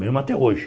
Mesmo até hoje.